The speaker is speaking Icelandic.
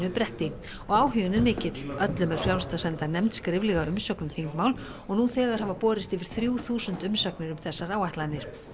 bretti og áhuginn er mikill öllum er frjálst að senda nefnd skriflega umsögn um þingmál og nú þegar hafa borist yfir þrjú þúsund umsagnir um þessar áætlanir